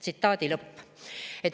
Tsitaadi lõpp.